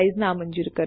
જોડાવા બદલ આભાર